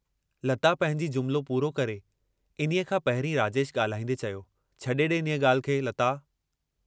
लता पंहिंजी जुमिलो पूरो करे इन्हीअ खां पहिरीं राजेश ॻाल्हाईंदे चयो, छॾे ॾे इन्हीअ ॻाल्हि खे लता।